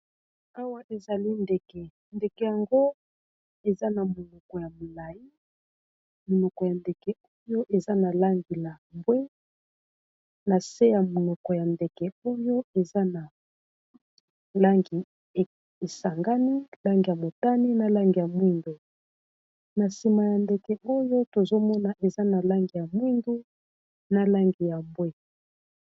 Awa ezali ndeke, ndeke yango eza na monoko ya molayi monoko ya ndeke oyo eza na langi ya mbwe. Na se ya monoko ya ndeke oyo eza na langi esangani langi ya motani na langi ya mwindu, na nsima ya ndeke oyo tozomona eza na langi ya mwindu na langi ya mbwe.